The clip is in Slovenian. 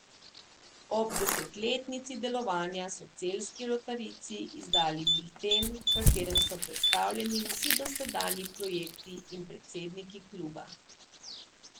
Ob desetletnici delovanja so celjski rotarijci izdali bilten, v katerem so predstavljeni vsi dosedanji projekti in predsedniki kluba.